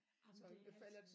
Jamen det er altid